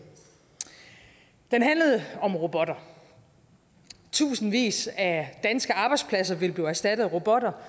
den handlede om robotter tusindvis af danske arbejdspladser vil blive erstattet af robotter